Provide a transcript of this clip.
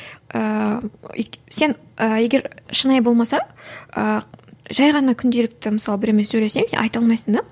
сен ы егер шынайы болмасаң ы жай ғана күнделікті мысалы біреумен сөйлессең сен айта алмайсың да